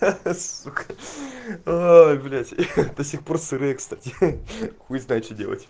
ха-ха сука ой блять до сих пор сырые кстати хуй знает что делать